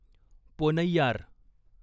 Ponnaiyar